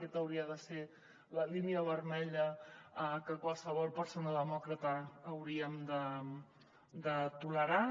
aquesta hauria de ser la línia vermella que qualsevol persona demòcrata hauríem de tolerar